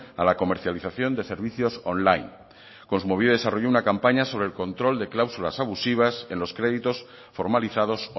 a la comercialización de servicios online kontsumobide ha desarrollado una campaña sobre el control de cláusulas abusivas en los créditos formalizados